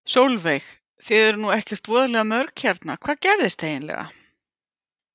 Sólveig: Þið eruð nú ekkert voðalega mörg hérna, hvað gerðist eiginlega?